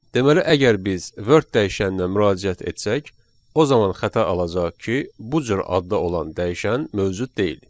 Deməli əgər biz Word dəyişəninə müraciət etsək, o zaman xəta alacağıq ki, bu cür adda olan dəyişən mövcud deyil.